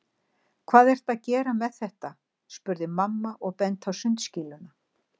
Hvað ertu að gera með þetta? spurði mamma og benti á sundskýluna.